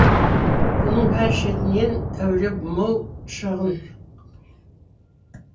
бұның бәрі шетінен әуре мол шығын